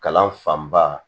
Kalan fanba